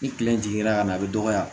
Ni kile in jiginna ka na a bɛ dɔgɔya